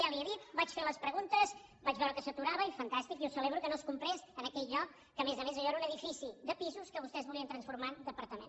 ja li ho he dit vaig fer les preguntes vaig veure que s’aturava i fantàstic i ho celebro que no es comprés en aquell lloc que a més a més allò era un edifici de pisos que vostès volien transformar en departament